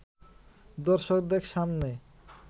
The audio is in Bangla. দর্শকদের সামনে